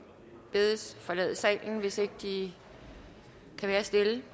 bedes forlade salen hvis ikke de kan være stille